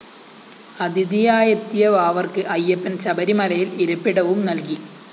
അതിഥിയായെത്തിയ വാവര്‍ക്ക് അയ്യപ്പന്‍ ശബരിമലയില്‍ ഇരിപ്പിടവും നല്‍കി